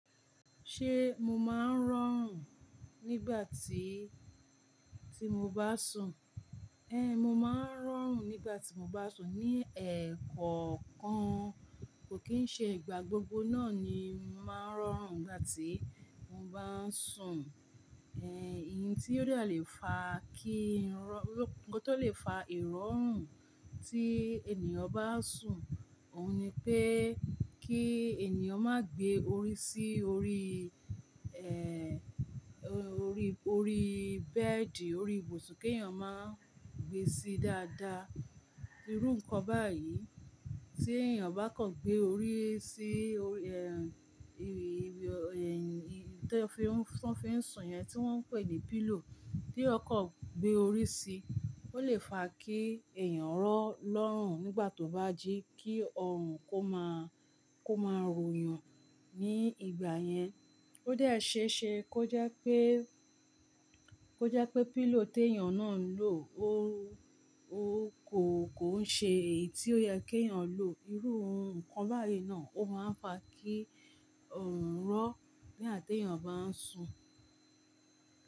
Ṣé mo máa ń rọrùn nígbà tí, tí mo bá sùn? Én, mo máa ń rọrùn nígbà tí mo bá sùn. Ni ẹ̀kọ̀ọ̀kan kò kín ṣe ìgbà gbogbo náà ni mo máa ń rọrùn nígbà tí mo bá ń sùn. Èh, ìyẹn tí ó dá lè fa kí n rọ-- ohun tó lè fa ìrọrùn tí ènìyàn bá sùn, òun ni pé kí ènìyàn má gbé orí sí orí, eh, orí, orí bẹ́ẹ̀dì, orí ibùsùn kí èèyàn má gbé sí dáadáa. Irú nǹkan báyìí tí èèyàn bá kàn gbé orí sí orí, eh, ìrì, ìrì, eh, ohun tí wọ́n fi ń sùn yẹn tí wọ́n ń pè ní pillow. Tí èyàn kàn gbé orí sí i, ó lè fa kí èèyàn rọ́, lọ́rùn nígbà tó bá jí kí ọrùn kó máa, kó máa ròyàn ní ìgbà yẹn. Ó dẹ̀ ṣéṣe kó jẹ́ pé, kó jẹ́ pé pillow tí èèyàn náà ń lò ó, ó kò, kò ń ṣe èyí tí ó yẹ kí èèyàn lò. Irú ohun nǹkan báyìí náà ó máa ń fa kí ọrùn rọ́ nígbà tí èèyàn bá ń sùn.